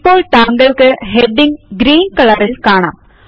ഇപ്പോൾ താങ്കൾക്ക് heading green കളറിൽ കാണാം